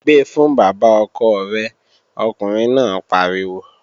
Gbe fún bàbá ọkọ rẹ̀, ọkùnrin náà pariwo!